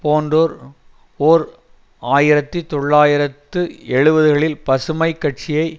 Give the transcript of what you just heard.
போன்றோர் ஓர் ஆயிரத்தி தொள்ளாயிரத்து எழுபதுகளில் பசுமை கட்சியை